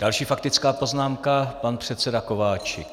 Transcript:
Další faktická poznámka - pan předseda Kováčik.